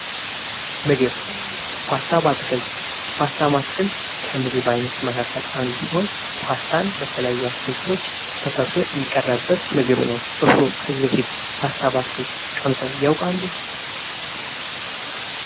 ምግብ ፓስታ በአትክልት ፓስተር በአትክልት ከምግብ መካከል አንዱ ሲሆን ፓስታን በተለያዩ አትክልቶች ተሰርቶ የሚቀረበት ምግብ ነው። እርስዎ ከዚህ በፊት ፓስታ በትክክል ት ያውቃሉ?